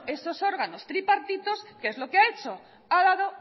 esos órganos tripartitos qué es lo que ha hecho ha dado